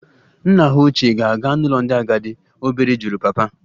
Nna hà ochie ga-aga n'ụlọ ndị agadi? Obere jụrụ papa